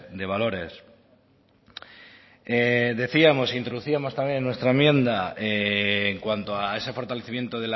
de valores decíamos introducíamos también en nuestra enmienda en cuanto a ese fortalecimiento